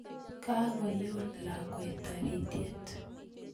kakoyon lakwet taritiet